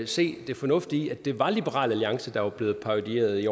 se det fornuftige i at det var liberal alliance der blev parodieret i